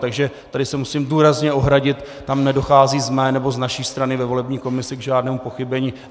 Takže tady se musím důrazně ohradit, tam nedochází z mé nebo z naší strany ve volební komisi k žádnému pochybení.